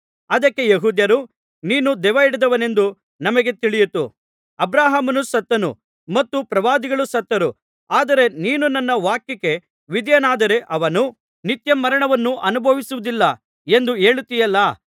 ಅದಕ್ಕೆ ಯೆಹೂದ್ಯರು ನೀನು ದೆವ್ವಹಿಡಿದವನೆಂದು ಈಗ ನಮಗೆ ತಿಳಿಯಿತು ಅಬ್ರಹಾಮನು ಸತ್ತನು ಮತ್ತು ಪ್ರವಾದಿಗಳೂ ಸತ್ತರು ಆದರೆ ನೀನು ನನ್ನ ವಾಕ್ಯಕ್ಕೆ ವಿಧೇಯನಾದರೆ ಅವನು ನಿತ್ಯಮರಣವನ್ನು ಅನುಭವಿಸುವುದಿಲ್ಲ ಎಂದು ಹೇಳುತ್ತೀಯಲ್ಲಾ